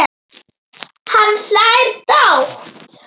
Hann hlær dátt.